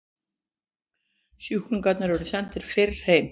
Sjúklingar eru sendir fyrr heim